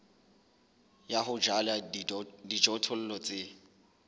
ya ho jala dijothollo tse